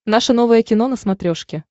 наше новое кино на смотрешке